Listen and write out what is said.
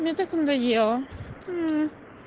мне так надоело